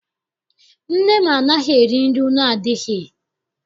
Nna m anaghị eri nri nnu adịghị.